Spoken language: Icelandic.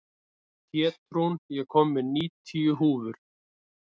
Pétrún, ég kom með níutíu húfur!